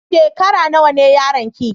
Shekara nawa ne yaron ki?